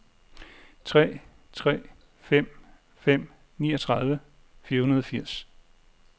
tre tre fem fem niogtredive fire hundrede og firs